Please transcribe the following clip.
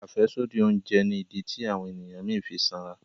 afẹsodi oúnjẹ ní ìdí tí àwọn ènìyàn mí fí sanra